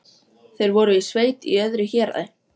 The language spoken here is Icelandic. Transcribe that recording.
Síðan fauk einbeiting Lilla og hann rak upp roknahlátur.